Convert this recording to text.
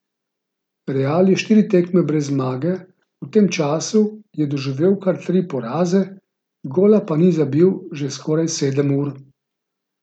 Real je štiri tekme brez zmage, v tem času je doživel kar tri poraze, gola pa ni zabil že skoraj sedem ur.